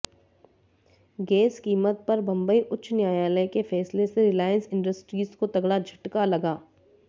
gas कीमत पर बंबई उच्च न्यायालय के फैसले से रिलायंस इंडस्ट्रीज को तगड़ा झटका लगा